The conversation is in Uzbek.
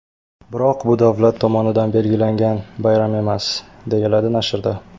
Biroq bu davlat tomonidan belgilangan bayram emas, deyiladi nashrda.